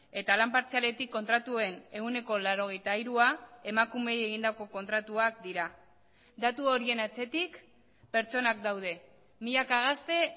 eta lan partzialetik kontratuen ehuneko laurogeita hirua emakumeei egindako kontratuak dira datu horien atzetik pertsonak daude milaka gazte